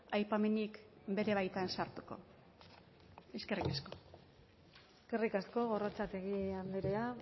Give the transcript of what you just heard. aipamenik bere baitan sartuko eskerrik asko eskerrik asko gorrotxategi andrea